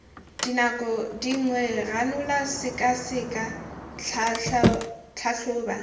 dinako dingwe ranola sekaseka tlhatlhoba